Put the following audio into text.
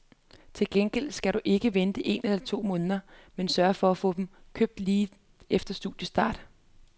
Til gengæld skal du ikke vente en måned eller to, men sørge for at få dem købt lige efter studiestart.